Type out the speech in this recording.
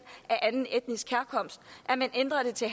af anden etnisk herkomst man ændrede det til